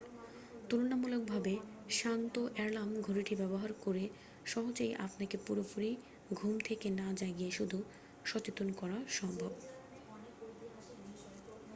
তুলনামূলকভাবে শান্ত অ্যালার্ম ঘড়িটি ব্যবহার করে সহজেই আপনাকে পুরোপুরি ঘুম থেকে না জাগিয়ে শুধু সচেতন করা সম্ভব